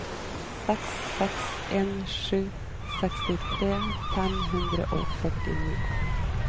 seks seks en sju sekstitre fem hundre og førtini